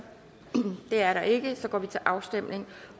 det er der ikke og så går vi til afstemning